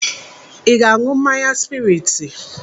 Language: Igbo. Ị ga-aṅụ mmanya spraiti?